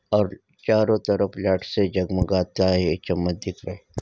और चारो तरफ लाइट से जगमगाता ये चम्मच दिख रहे।